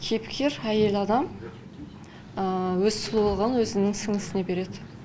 кейіпкер әйел адам өз сұлулығын өзінің сіңлісіне береді